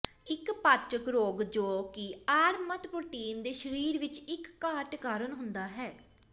ਇੱਕ ਪਾਚਕ ਰੋਗ ਜੋ ਕਿ ਆਰਮਾਤ ਪ੍ਰੋਟੀਨ ਦੇ ਸਰੀਰ ਵਿੱਚ ਇੱਕ ਘਾਟ ਕਾਰਨ ਹੁੰਦਾ ਹੈ